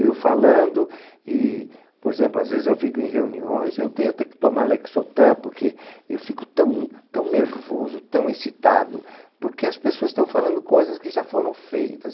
Eu falando e, por exemplo, às vezes eu fico em reuniões, eu tenho até que tomar Lexotan, porque eu fico tão tão nervoso, tão excitado, porque as pessoas estão falando coisas que já foram feitas.